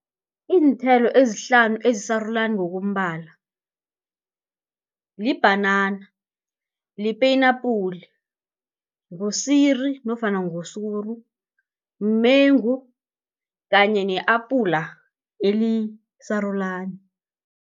Iinthelo ezihlanu ezisarulani ngokombala, libhanana, lipenapula, ngusiri nofana ngusuru, mumengu kanye ne-apula elisarulana.